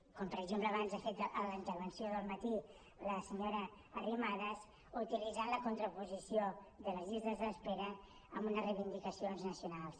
com per exemple abans ha fet en la intervenció del matí la senyora arrimadas utilitzant la contraposició de les llistes d’espera amb unes reivindicacions nacionals